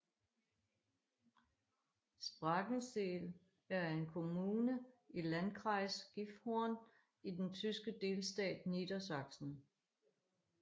Sprakensehl er en kommune i Landkreis Gifhorn i den tyske delstat Niedersachsen